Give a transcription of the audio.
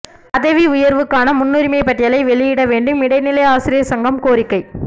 பதவி உயா்வுக்கான முன்னுரிமைப் பட்டியலை வெளியிட வேண்டும்இடைநிலை ஆசிரியா் சங்கம் கோரிக்கை